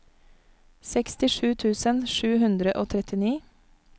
sekstisju tusen sju hundre og trettini